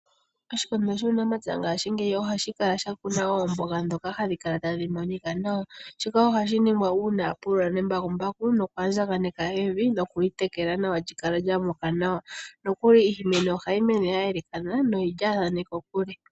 Oshikondo shuunamapya ngaashingeyi ohashi kala sha kuna oomboga dhoka hadhi kala tadhi monika nawa, shika ohashi ningwa uuna a pulula nembakumbaku noku a ndjakaneka evi nokuli tekela nawa lyikale lyamuka nawa. Nokuli iimeno ohayi mene yayoolokana nohayi mene yili kokule.